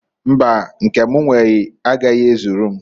Mbaǃ Nke m nwere agaghi ezulu m.